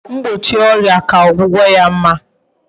mgbochi oria ka ogwugo ya mma